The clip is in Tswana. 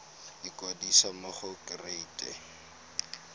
ikwadisa mo go kereite r